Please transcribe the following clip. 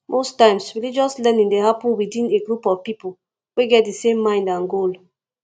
most times religious learning dey happen within a group of pipo we get di same mind and goal